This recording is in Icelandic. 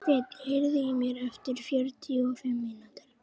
Steinn, heyrðu í mér eftir fjörutíu og fimm mínútur.